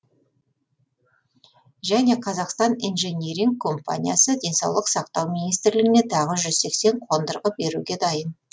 және қазақстан инжиниринг компаниясы денсаулық сақтау министрлігіне тағы жүз сексен қондырғы беруге дайын